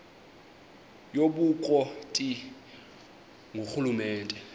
yobukro ti ngurhulumente